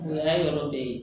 O y'a yɔrɔ bɛɛ ye